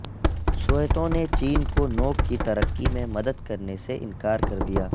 سوویتوں نے چین کو نوک کی ترقی میں مدد کرنے سے انکار کر دیا